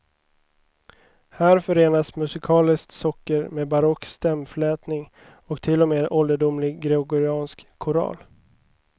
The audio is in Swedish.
Här förenas musikaliskt socker med barock stämflätning och till och med ålderdomlig gregoriansk koral.